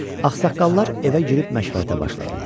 Ağsaqqallar evə girib məşvərətlə başladılar.